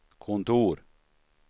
kontor